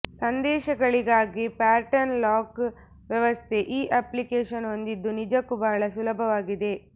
ಸಂದೇಶಗಳಿಗಾಗಿ pattern lock ವ್ಯವಸ್ಥೆ ಈ application ಹೊಂದಿದ್ದು ನಿಜಕ್ಕೂ ಬಳಸಲು ಸುಲಭವಾಗಿದೆ